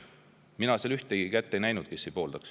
Mina seal ühtegi kätt ei näinud neilt, kes ei poolda.